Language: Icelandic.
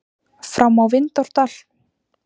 Fram á Vindárdal.